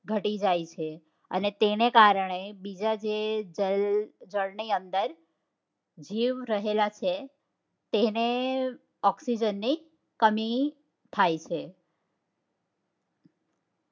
ઘટી જાય છે અને તેના કારણે બીજા ને જળ ની અંદર જીવ રહેલા છે તેને oxygen ની કમી થાય છે